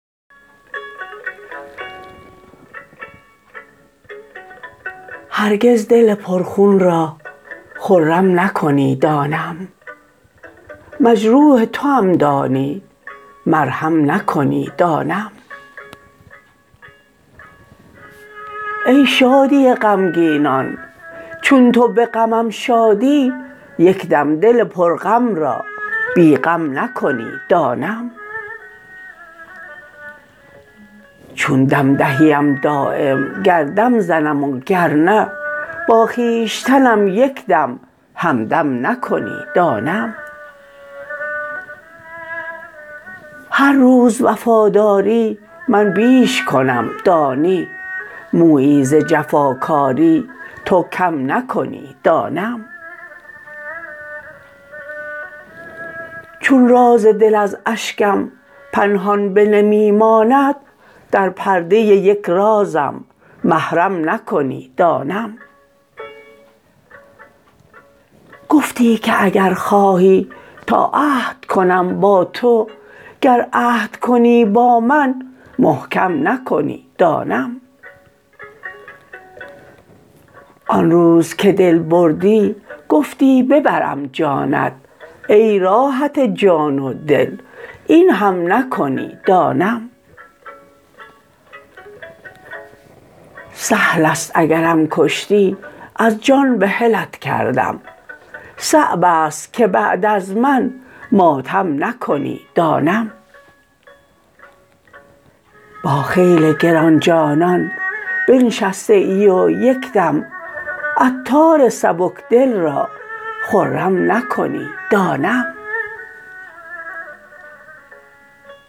هرگز دل پر خون را خرم نکنی دانم مجروح توام دانی مرهم نکنی دانم ای شادی غمگینان چون تو به غمم شادی یکدم دل پر غم را بی غم نکنی دانم چون دم دهیم دایم گر دم زنم و گرنه با خویشتنم یکدم همدم نکنی دانم هر روز وفاداری من بیش کنم دانی مویی ز جفاکاری تو کم نکنی دانم چون راز دل از اشکم پنهان به نمی ماند در پرده یک رازم محرم نکنی دانم گفتی که اگر خواهی تا عهد کنم با تو گر عهد کنی با من محکم نکنی دانم آن روز که دل بردی گفتی ببرم جانت ای راحت جان و دل این هم نکنی دانم سهل است اگرم کشتی از جان بحلت کردم صعب است که بعد از من ماتم نکنی دانم با خیل گران جانان بنشسته ای و یکدم عطار سبک دل را خرم نکنی دانم